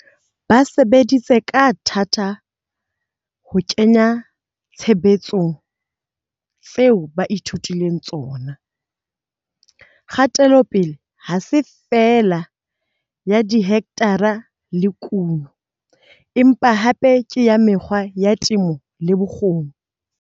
Ba sebeditse ka thata ho kenya tshebetsong tseo ba ithutileng tsona. Kgatelopele ha se feela ya dihekthara le kuno, empa hape ke ya mekgwa ya temo le bokgoni.